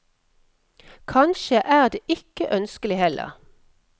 Kanskje er det ikke ønskelig heller.